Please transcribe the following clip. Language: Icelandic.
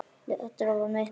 Letrað var mitt blað.